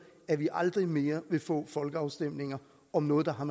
at vi aldrig mere vil få folkeafstemninger om noget der har